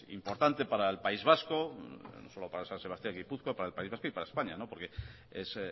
importante para el país vasco no solo para san sebastián gipuzkoa para el país vasco y para españa no porque es